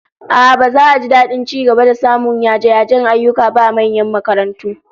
A'a, baza a ji dadin ci gaba da samun yaje-yajen ayyuka ba a manyan makarantu